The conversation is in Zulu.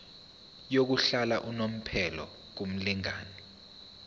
yokuhlala unomphela kumlingani